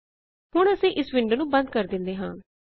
ਹੁਣ ਅਸੀਂ ਵਿੰਡੋ ਨੂੰ ਬੰਦ ਕਰ ਦੇੰਦੇ ਹਾਂ